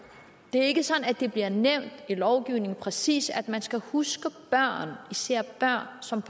det er ikke sådan at det bliver nævnt i lovgivningen præcist at man skal huske børn især børn som